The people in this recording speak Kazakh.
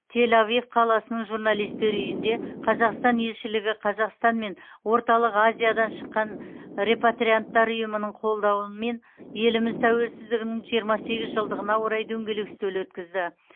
тель авив қаласының журналисттер үйінде қазақстан елшілігі қазақстан мен орталық азиядан шыққан репатрианттар ұйымының қолдауымен еліміз тәуелсіздігінің жиырма сегіз жылдығына орай дөңгелек үстел өткізді